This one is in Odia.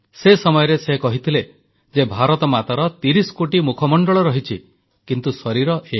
ସେ ସମୟରେ ସେ କହିଥିଲେ ଯେ ଭାରତମାତାର 30 କୋଟି ମୁଖମଣ୍ଡଳ ରହିଛି କିନ୍ତୁ ଶରୀର ଏକ